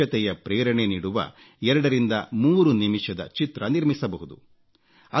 ಸ್ವಚ್ಛತೆಯ ಪ್ರೇರಣೆ ನೀಡುವ 23 ನಿಮಿಷದ ಚಿತ್ರ ನಿರ್ಮಿಸಬಹುದು